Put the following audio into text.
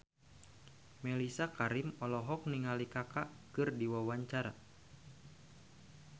Mellisa Karim olohok ningali Kaka keur diwawancara